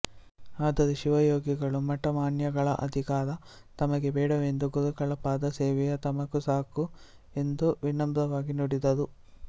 ಆದರೆ ಶಿವಯೋಗಿಗಳು ಮಠಮಾನ್ಯಗಳ ಅಧಿಕಾರ ತಮಗೆ ಬೇಡವೆಂದೂ ಗುರುಗಳ ಪಾದಸೇವೆಯೆ ತಮಗೆ ಸಾಕು ಎಂದೂ ವಿನಮ್ರರಾಗಿ ನುಡಿದರು